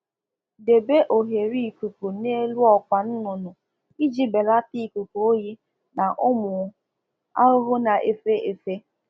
Debe oghere mbata mbata ikuku n'elu ogo ụmụ ọkụkọ maka mgbochi ikuku oyi n'akwa ụmụ ahụhụ ndi na efe efe